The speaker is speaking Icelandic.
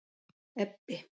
Ebbi